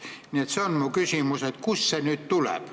Nii et see on mu küsimus, et kust see nüüd tuleb.